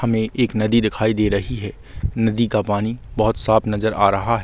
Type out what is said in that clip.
हमें एक नदी दिखाई दे रही हे नदी का पानी बहोत साफ़ नज़र आ रहा ह --